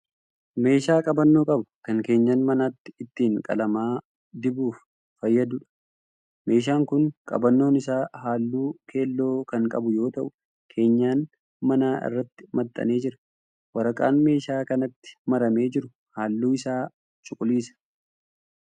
Meeshaa qabannoo qabu kan keenyan manaatti ittiin qalama dibuuf fayyaduudha. Meeshaan kun qabannoon isaa halluu keelloo kan qabu yoo ta'u keenyan manaa irratti maxxanee jira. Waraqaan meeshaa kanatti maramee jiru halluun isaa cuquliisa.